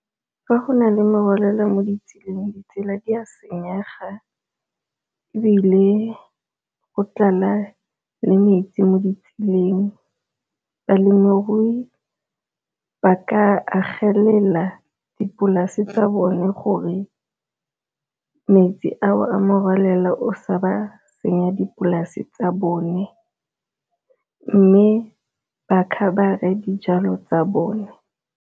Fa go na le morwalela mo ditseleng ditsela di a senyega, ebile go tlala le metsi mo ditseleng. Balemirui ba ka agela fela dipolase tsa bone gore metsi ao a morwalela o sa ba senya dipolase tsa bone, mme ba khabare dijalo tsa bone.